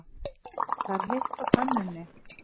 Það er heitt á könnunni.